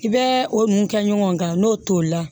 I bɛ o mun kɛ ɲɔgɔn kan n'o tolila